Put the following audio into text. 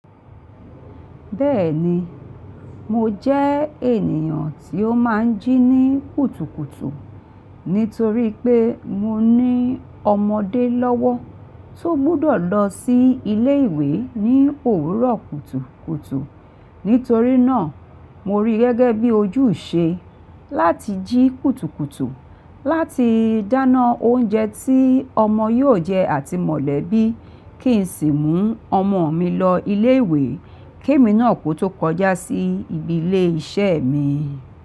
Bẹ́ẹ̀ni, mo jẹ́ ènìyàn tí ó máa ń jí ní kùtùkùtù, nítorí pé mo ní ọmọdé lọ́wọ́ tó gbọ́dọ̀ lọ sí ilé ìwé ní òwúrọ̀ kùtùkùtù. Nítorí náà, mo rí gẹ́gẹ́ bí ojú ṣe láti jí kùtùkùtù, láti dáná oúnjẹ tí ọmọ yóò jẹ àti mọ̀lẹ́bí kí n sì mú ọmọ mi lọ ilé ìwé kí èmi náà kó tó kọjá sí ibi ilé iṣẹ́ mi.